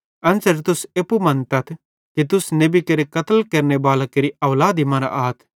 एन्च़रे तुस एप्पू मन्तथ कि तुस नेबी केरे कत्ल केरनेबालां केरि औलादी मरां आथ